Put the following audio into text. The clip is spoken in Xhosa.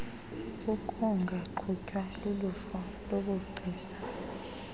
ukungaqhutywa luluvo lobugcisa